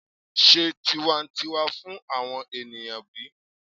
se tiwantiwa fun awon eniyan bi?